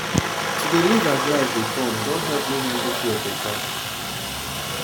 to dey live as life de come don help me handle fear better